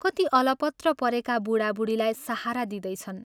कति अलपत्र परेका बूढा बूढीलाई सहारा दिँदैछन्।